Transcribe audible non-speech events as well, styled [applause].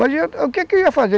[unintelligible] o que que eu ia fazer?